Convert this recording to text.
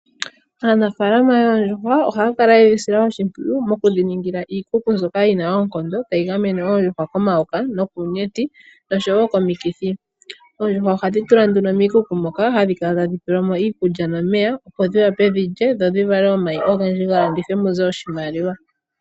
Aanafaalama yoondjuhwa ohaya kala yedhi sila oshimpwiyu okudhi ningila iikutu mbyoka yina oonkondo tayi gamene oondjuhwa komayoka nokuunyenti noshowo komikithi, oondjuhwa ohadhi tulwa nduno miikuku muka hadhi kala tadhi pelwamo iikulya nomeya opo dhi wape dhilye dho dhi vale omayi ogendji ga landithwe muze oshimaliwa.